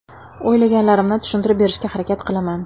O‘ylaganlarimni tushuntirib berishga harakat qilaman.